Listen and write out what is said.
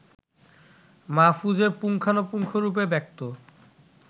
মাহফুজের পুঙ্খানুপুঙ্খরূপে ব্যক্ত